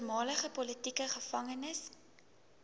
voormalige politieke gevangenes